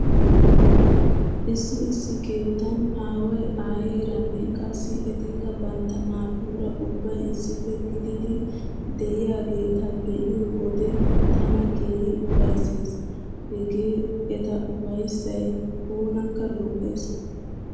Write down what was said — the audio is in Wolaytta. Issi issi keettan aaway aayeeranne qassi etikka bantta naatuura ubbay issippe gididi diyageeta be'iyo wode tana keehi ufayssees. Hegee eta ufayssay oonakka lo'ees.